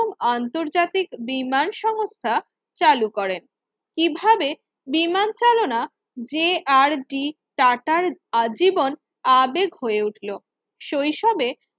আন্তর্জাতিক বিমান সংস্থা চালু করেন কিভাবে বিমান চালনা যে আর ডি টাটার আজীবন আবেগ হয়ে উঠলো শৈশবে